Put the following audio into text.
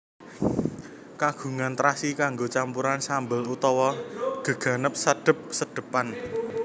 Kagunan trasi kanggo campuran sambel utawa geganep sedhep sedhepan